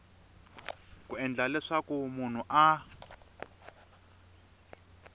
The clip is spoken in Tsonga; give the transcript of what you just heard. ku endla leswaku munhu a